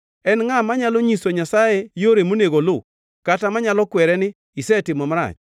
En ngʼa manyalo nyiso Nyasaye yore monego oluw, kata manyalo kwere ni, ‘Isetimo marach’?